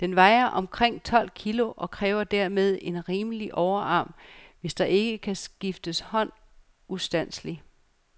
Den vejer omkring tolv kilogram, og kræver dermed en rimelig overarm, hvis der ikke skal skifte hånd ustandseligt.